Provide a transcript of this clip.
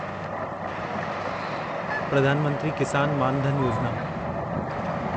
Pradhan Mantri Kisan Maan Dhan Yojana